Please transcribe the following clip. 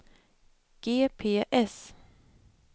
GPS